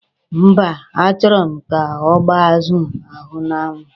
Mba, a chọrọ m ka ọ gbaa azụ ahụ n'anwụ.